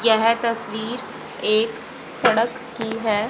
यह तस्वीर एक सड़क की है।